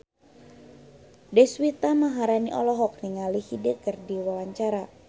Deswita Maharani olohok ningali Hyde keur diwawancara